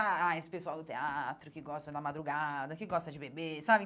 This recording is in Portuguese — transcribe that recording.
Ah ah, esse pessoal do teatro que gosta da madrugada, que gosta de beber, sabe?